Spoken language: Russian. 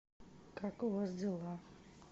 как у вас дела